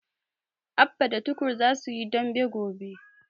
Abba da Tukur za su yi dambe gobe.